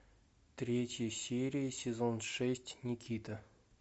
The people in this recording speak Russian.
третья серия сезон шесть никита